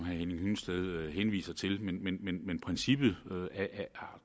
henning hyllested henviser til men princippet